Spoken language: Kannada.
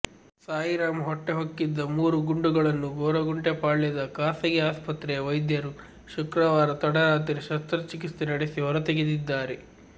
ಸಾಯಿರಾಮ್ ಹೊಟ್ಟೆ ಹೊಕ್ಕಿದ್ದ ಮೂರು ಗುಂಡುಗಳನ್ನು ಗೊರಗುಂಟೆಪಾಳ್ಯದ ಖಾಸಗಿ ಆಸ್ಪತ್ರೆಯ ವೈದ್ಯರು ಶುಕ್ರವಾರ ತಡರಾತ್ರಿ ಶಸ್ತ್ರಚಿಕಿತ್ಸೆ ನಡೆಸಿ ಹೊರತೆಗೆದಿದ್ದಾರೆ